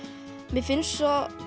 mér finnst svo